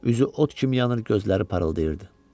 Üzü ot kimi yanır, gözləri parıldayırdı.